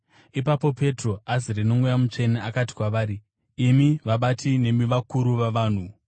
Ipapo Petro azere noMweya Mutsvene, akati kwavari, “Imi vabati nemi vakuru vavanhu,